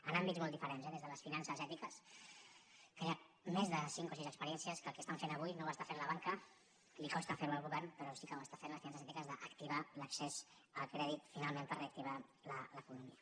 en àmbits molt diferents eh des de les finances ètiques que hi ha més de cinc o sis experiències que el que fan avui no ho fa la banca li costa fer ho al govern però sí que ho fan les finances ètiques activar l’accés al crèdit finalment per reactivar l’economia